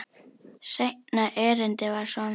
Seinna erindið var svona: